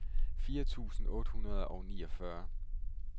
fire tusind otte hundrede og niogfyrre